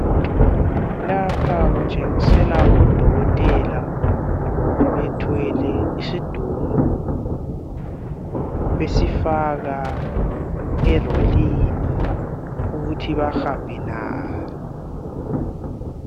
Lapha kutshengisela odokotela bethwele isidumbu, besifaka erolini ukuthi bahambe laso.